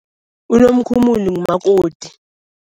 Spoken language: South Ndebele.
Unomkhumuli ngumakoti.